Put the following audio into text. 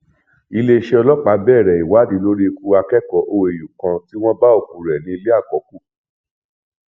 iléeṣẹ ọlọpàá bẹrẹ ìwádìí lórí ikú akẹkọọ òàu kan tí wọn bá òkú rẹ nílé àkọkù